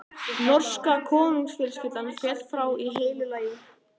Norska konungsfjölskyldan féll frá í heilu lagi.